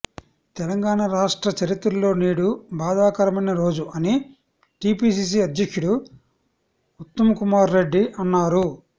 తెలంగాణ రాష్ట్ర చరిత్రలో నేడు బాధాకరమైన రోజు అని టీపీసీసీ అధ్యక్షుడు ఉత్తమ్కుమార్రెడ్డి అన్నారు